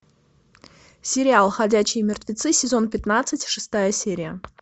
сериал ходячие мертвецы сезон пятнадцать шестая серия